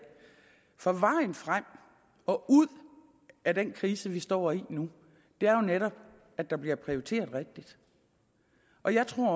for vejen frem og ud af den krise vi står i nu er jo netop at der bliver prioriteret rigtigt og jeg tror